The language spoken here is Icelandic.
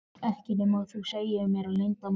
Ekki nema þú segir mér leyndarmálið.